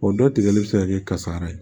O dɔ tigɛli bɛ se ka kɛ kasara ye